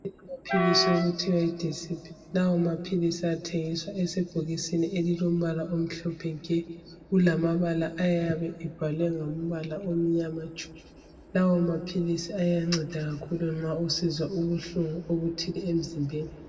Amaphilisi okuthiwa yideecip lawa maphilisi athengiswa esebhokisini elilombala omhlophe nke kulamabala ayabe ebhalwe ngombala omnyama tshu lawo maphilisi ayanceda kakhulu nxa usizwa ubuhlungu obuthile emzimbeni